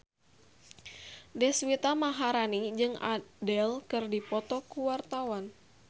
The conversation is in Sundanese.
Deswita Maharani jeung Adele keur dipoto ku wartawan